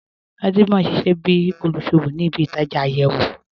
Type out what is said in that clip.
Fatima n ṣíṣẹ̀ bí olúṣọ́wọ̀ ní ìbí-ìtajá ayéwo.